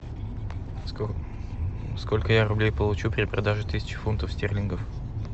сколько я рублей получу при продаже тысячи фунтов стерлингов